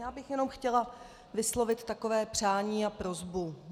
Já bych jenom chtěla vyslovit takové přání a prosbu.